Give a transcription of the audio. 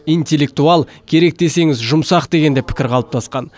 интеллектуал керек десеңіз жұмсақ деген де пікір қалыптасқан